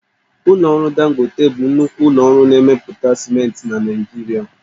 Ụlọ ọrụ Dangote bụ nnukwu ụlọ ọrụ na-emepụta siment na Naịjirịa